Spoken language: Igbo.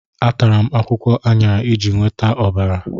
Atara m akwụkwọ aṅara iji nweta ọbara.